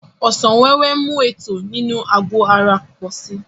Ọsàn wẹ́wẹ́ ń mú ètò inú àgbò ara pò si